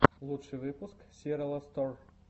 лучший выпуск сираластор